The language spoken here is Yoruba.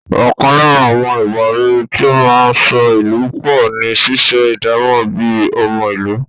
Ọkàn lára àwọn ìwà rere tí ó máa ń so ìlú pọ̀ ni ṣíṣe ìdámọ̀ bíi ọmọ ìlú.